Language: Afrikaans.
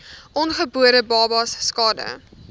ongebore babas skade